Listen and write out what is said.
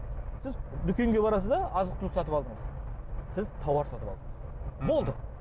сіз дүкенге барасыз да азық түлік сатып алдыңыз сіз тауар сатып алдыңыз болды